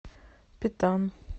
петан